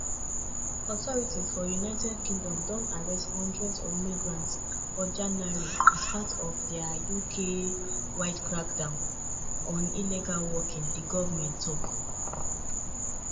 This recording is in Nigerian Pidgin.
authorities for united kingdom don arrest hundreds of migrants for january as part of dia uk-wide crackdown on illegal working di goment tok.